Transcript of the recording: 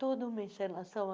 Toda uma encenação.